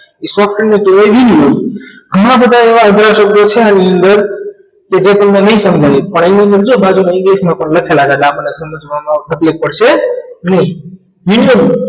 એને કહેવાય universe ઘણા બધા એવા અભ્યાસો છે આની અંદર કે જે તમને નહી સમજાય અને ઘણા બધા english માં પણ લખેલા છે એટલે આપણને સમજવામાં પણ તકલીફ પડશે નિયમ